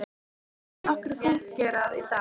Hvernig getur nokkur fúnkerað í dag?